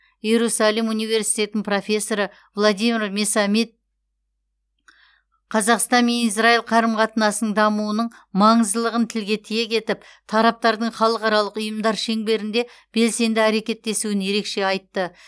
иерусалим университетінің профессоры аладимир месамед қазақстан мен израил қарым қатынастарының дамуының маңыздылығын тілге тиек етіп тараптардың халықаралық ұйымдар шеңберінде белсенді әрекеттесуін ерекше айтты